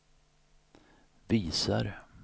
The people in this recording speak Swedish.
visar